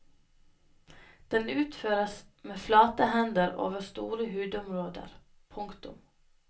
Den utføres med flate hender over store hudområder. punktum